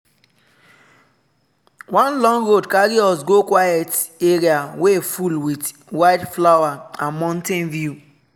one long road carry us go quiet area wey full with wildflower and mountain view.